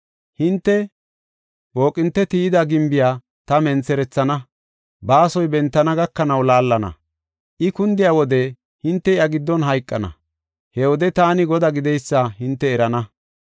Hinte booqinte tiyida gimbiya ta mentherethana; baasoy bentana gakanaw laallana. I kundiya wode hinte iya giddon hayqana; he wode taani Godaa gideysa hinte erana.